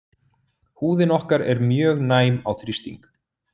Húðin okkar er mjög næm á þrýsting.